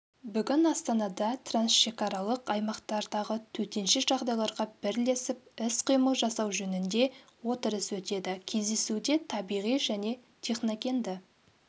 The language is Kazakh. бүгін астанада трансшекаралық аймақтардағы төтенше жағдайларға бірлесіп іс-қимыл жасау жөнінде отырыс өтеді кездесуде табиғи және техногенді